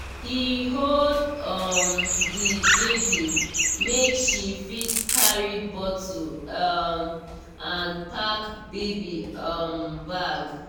he hold um the baby make she fit arrange bottle um and pack baby um bag